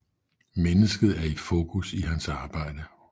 Mennesket er i fokus i hans arbejde